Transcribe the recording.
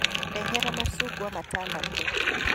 Ndehera macungwa matandatũ.